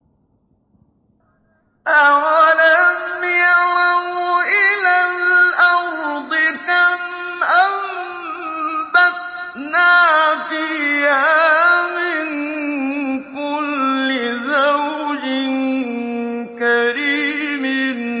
أَوَلَمْ يَرَوْا إِلَى الْأَرْضِ كَمْ أَنبَتْنَا فِيهَا مِن كُلِّ زَوْجٍ كَرِيمٍ